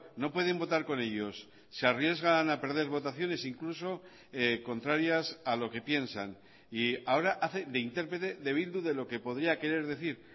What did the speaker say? no pueden votar con ellos se arriesgan a perder votaciones incluso contrarias a lo que piensan y ahora hace de interprete de bildu de lo que podía querer decir